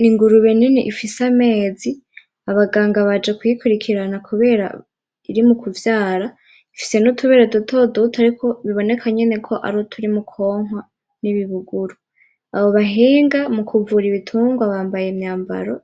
N'ingurube nini ufise amezi abaganga baje kuyiraba kubera iri mukuvyara, ifise nutubere dutoduto biboneka nyene kwari uturi mu kwonkwa n'ibibuguru, abo bahinga bukuvura ibitungwa bambaye imyambaro